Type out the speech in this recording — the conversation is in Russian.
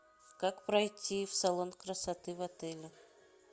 как пройти в салон красоты в отеле